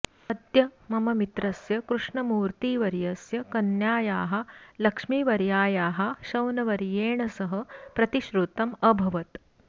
अद्य मम मित्रस्य कृष्णमूर्तिवर्यस्य कन्यायाः लक्ष्मीवर्यायाः शौनवर्येण सह प्रतिश्रुतम् अभवत्